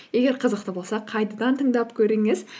егер қызықты болса қайтадан тыңдап көріңіз